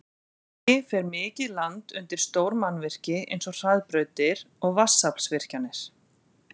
Að auki fer mikið land undir stór mannvirki eins og hraðbrautir og vatnsaflsvirkjanir.